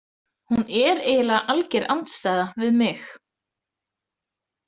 Hún er eiginlega alger andstæða við mig.